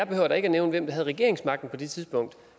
da ikke nævne hvem der havde regeringsmagten på det tidspunkt